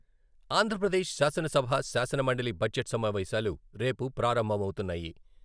ఆంధ్ర ప్రదేశ్ శాసన సభ, శాసన మండలి బడ్జెట్ సమావేశాలు రేపు ప్రారంభమవుతున్నాయి.